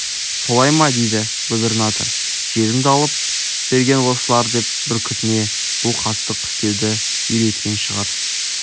солай ма дейді губернатор жерімді алып берген осылар деп бүркітіне бұл қастық істеуді үйреткен шығар